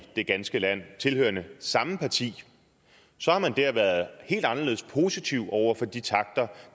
det ganske land tilhørende samme parti har man været helt anderledes positiv over for de takter